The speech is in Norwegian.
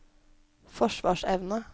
forsvarsevne